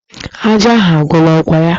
Ajá ahụ agwụla, ọ kwa ya?